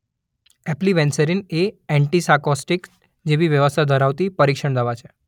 એપ્લિવેન્સેરિન એ એન્ટિસાકોટિક્સ જેવી વ્યવસ્થા ધરાવતી પરિક્ષણ દવા છે